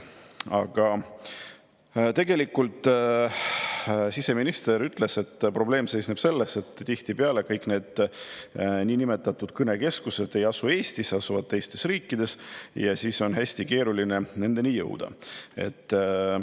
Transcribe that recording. Aga siseminister ütles, et probleem seisneb tegelikult selles, et tihtipeale kõik need niinimetatud kõnekeskused ei asu Eestis, vaid teistes riikides, ja siis on hästi keeruline nendeni jõuda.